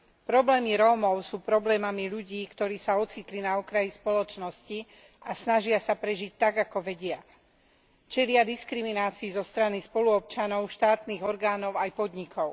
Problémy Rómov sú problémami ľudí, ktorí sa ocitli na okraji spoločnosti a snažia sa prežiť tak, ako vedia. Čelia diskriminácii zo strany spoluobčanov, štátnych orgánov aj podnikov.